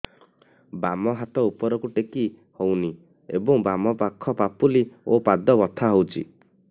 ବାମ ହାତ ଉପରକୁ ଟେକି ହଉନି ଏବଂ ବାମ ପାଖ ପାପୁଲି ଓ ପାଦ ବଥା ହଉଚି